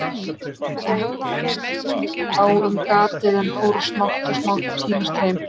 Kvöldið leið, menn skiptust á um gatið en fóru smátt og smátt að tínast heim.